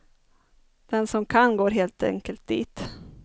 Den som kan går helt enkelt dit.